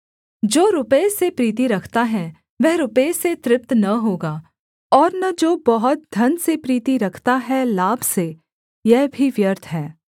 जो रुपये से प्रीति रखता है वह रुपये से तृप्त न होगा और न जो बहुत धन से प्रीति रखता है लाभ से यह भी व्यर्थ है